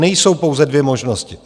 Nejsou pouze dvě možnosti.